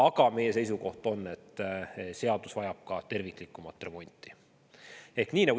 Aga meie seisukoht on, et seadus vajab terviklikumat remonti.